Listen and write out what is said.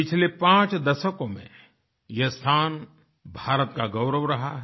पिछले पांच दशकों में यह स्थान भारत का गौरव रहा है